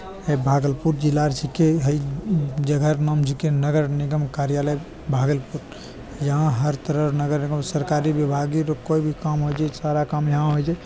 है भागलपुर जिला र छके। है उ-उ जगह क नाम छेके नगर निगम कार्यालय भागलपुर । यहाँ हर तरह नगर एवं सरकारी विभागी र कोई भी काम हो जे सारा काम यहाँ होय छे।